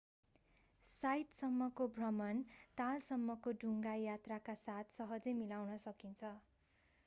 साइटसम्मको भ्रमण तालसम्मको डुङ्गा यात्राका साथ सहजै मिलाउन सकिन्छ